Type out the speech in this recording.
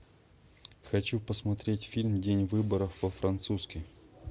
хочу посмотреть фильм день выборов по французски